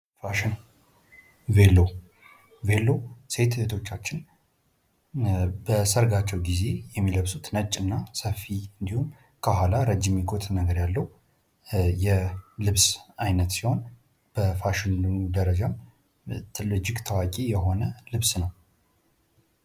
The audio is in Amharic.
ፋሽን ቬሎ፦ ቬሎ ሴት እህቶቻችን በሰርጋቸው ጊዜ የሚለብሱት ነጭና ሰፊ እንዲሁም ከኋላ ረጅም ኮት ነገር ያለው የልብስ አይነት ሲሆን በፋሽንም ደረጃ ትልቅ ፥ እጅግ ታዋቂ የሆነ ልብስ ነው።